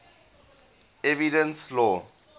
evidence law